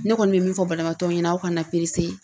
Ne kɔni bɛ min fɔ balimaw ɲɛna aw kana .